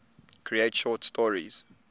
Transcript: create short stories